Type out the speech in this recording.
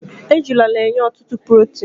ejula na-enye ọtụtụ protin